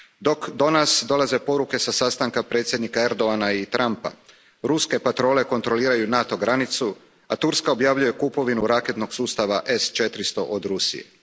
Dok do nas dolaze poruke sa sastanka predsjednika Erdogana i Trumpa, ruske patrole kontroliraju NATO granicu, a Turska objavljuje kupovinu raketnog sustava S 400 od Rusije.